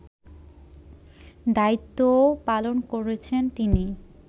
দায়িত্বও পালন করেছেন তিনি